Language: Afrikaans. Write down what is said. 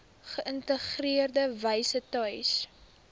geïntegreerde wyse tuis